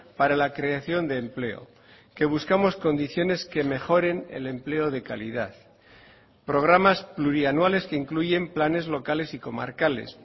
para la creación de empleo que buscamos condiciones que mejoren el empleo de calidad programas plurianuales que incluyen planes locales y comarcales